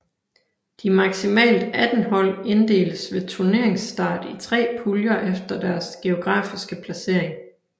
De maksimalt 18 hold inddeles ved turneringsstart i 3 puljer efter deres geografiske placering